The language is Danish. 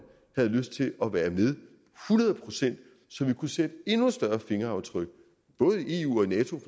havde lyst til at være med hundrede procent så vi kunne sætte et endnu større fingeraftryk både i eu og i nato